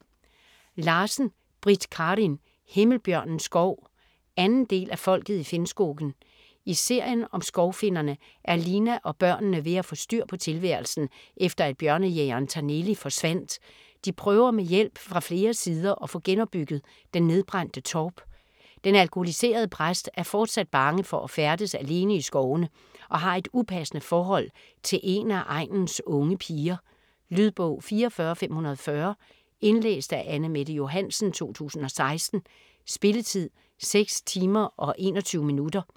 Larsen, Britt Karin: Himmelbjørnens skov 2. del af Folket i Finnskogen. I serien om skovfinnerne er Lina og børnene ved få styr på tilværelsen efter at bjørnejægeren Taneli forsvandt. De prøver med hjælp fra flere sider at få genopbygget den nedbrændte torp. Den alkoholiserede præst er fortsat bange for at færdes alene i skovene og har et upassende forhold til en af egnens unge piger. Lydbog 44540 Indlæst af Anne-Mette Johansen, 2016. Spilletid: 6 timer, 21 minutter.